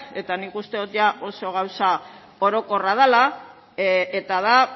eta nik uste dut ia oso gauza orokorra dela eta da